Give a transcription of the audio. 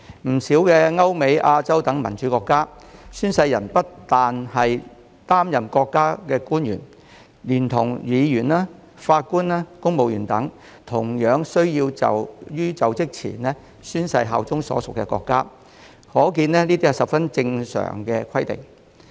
不少歐美、亞洲等民主國家，宣誓人不單是國家的官員，議員及法官，公務員亦同樣需要在就職前宣誓效忠所屬國家，可見這是十分正常的規定。